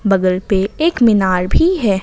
बगल पे एक मीनार भी है।